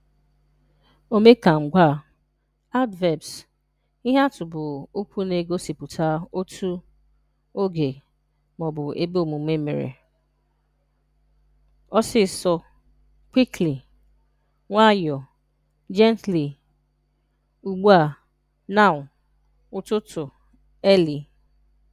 Omekangwaa (Adverbs): Ihe atụ bụ okwu na-egosipụta otú, oge, ma ọ bụ ebe omume mere: Ọsịsọ (Quickly). Nwayọọ (Gently). Ugbu a (Now). Ụtụtụ (Early).